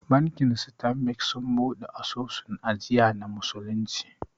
Bankin Stanbic sun buɗe asusun ajiya na musulunci